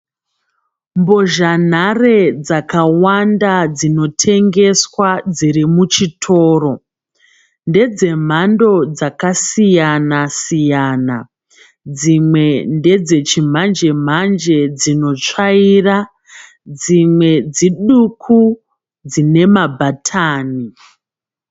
Mbozha nhare dzakawanda dzinotengeswa dzirimushitoro. Ndezve mhando dzakasiyanasiyana dzimwe ndedzechimanjemanje dzinosvaira ,dzimwe dziduku dzinemabhatani.